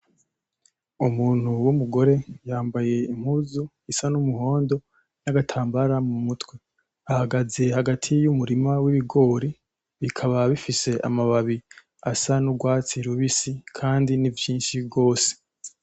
Umuntu w'umugore yambaye impuzu isa nk'umuhondo n'agatambara mumutwe, ahagaze hagati y'umurima w'ibigori bikaba bifise amababi asa n'urwatsi rubisi kandi ni vyinshi gose.